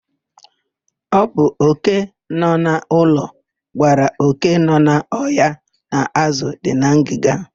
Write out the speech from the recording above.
Ọ bụ òké nọ n'ụlọ gwara òké nọ n'ọhịa na ázụ̀ dị na ngịga.